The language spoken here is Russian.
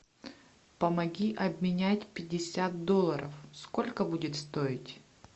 помоги обменять пятьдесят долларов сколько будет стоить